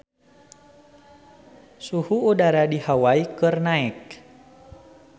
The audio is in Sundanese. Suhu udara di Hawai keur naek